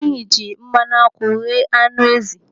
Anyị jiri mmanụ akwụ ghee anụ ezi.